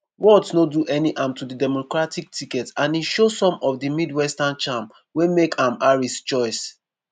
walz no do any harm to di democratic ticket and e show some of di midwestern charm wey make am harris choice.